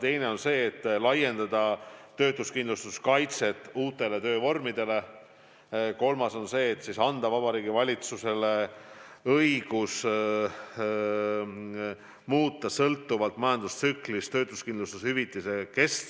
Teine ettepanek on laiendada töötuskindlustuskaitset uutele töövormidele ja kolmas anda Vabariigi Valitsusele õigus muuta sõltuvalt majandustsüklist töötuskindlustushüvitise kestust.